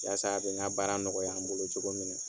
Yasa a bɛ n ka baara nɔgɔya n bolo cogo min na.